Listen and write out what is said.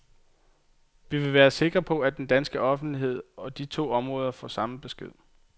Vi vil være sikre på, at den danske offentlighed og de to områder får samme besked.